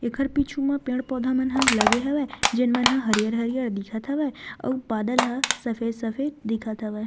एकर पीछू म पेड़-पौधा मन ह लगे हवय जेन मन ह हरियर-हरियर दिखत हवय अउ बादल ह सफ़ेद-सफ़ेद दिखत हवय।